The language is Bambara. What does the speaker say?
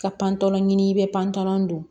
Ka panpɔlɔ ɲini i bɛ panpanlan don